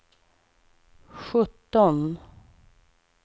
sjutton